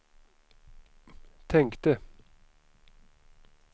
tänkte